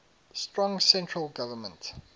strong central government